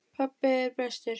Pabbi er bestur.